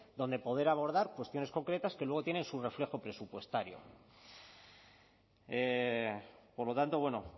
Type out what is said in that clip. donde poder abordar cuestiones concretas que luego tienen su reflejo presupuestario por lo tanto bueno